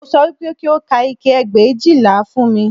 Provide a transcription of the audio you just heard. Mo sọ wípé kí o ka ike ẹgbẹ̀éjìlá fún mi